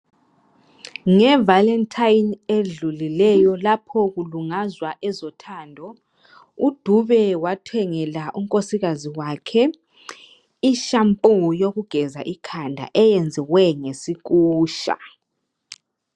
Ngevalentine edlulileyo lapho kulungazwa ezothando uDube wathengela unkosikazi wakhe i-shampoo yokugeza ikhanda eyenzwe ngesikusha.